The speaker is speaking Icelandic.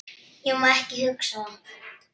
Ég má ekki hugsa það.